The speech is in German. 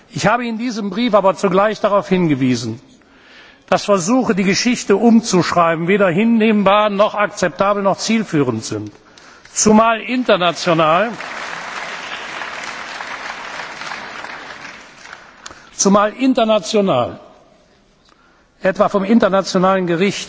Ich habe in diesem Brief aber zugleich darauf hingewiesen, dass Versuche, die Geschichte umzuschreiben, weder hinnehmbar, noch akzeptabel, noch zielführend sind, zumal international etwa vom Internationalen Gerichtshof, auch vom Internationalen